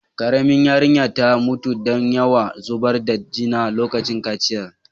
Karemin yarinyan ta mutu dan yawn zubar da jina lokacin kaciyan.